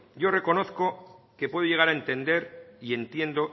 yo reconozco que puedo llegar a entender y entiendo